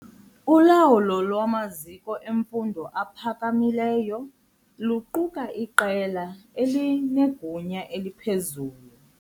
Ulawulo lwamaziko emfundo aphakamileyo luquka iqela elinegunya eliphezulu.